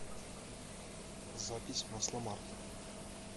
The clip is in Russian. запись масломарт